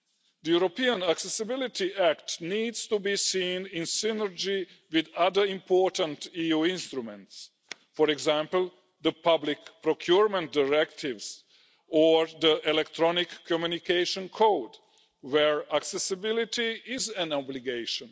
The European Accessibility Act needs to be seen in synergy with other important EU instruments, for example, the public procurement directives or the Electronic Communications Code, where accessibility is an obligation.